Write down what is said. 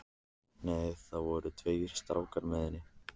Nei, það voru tveir strákar með henni.